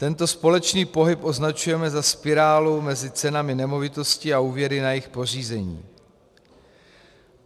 Tento společný pohyb označujeme za spirálu mezi cenami nemovitostí a úvěry na jejich pořízení.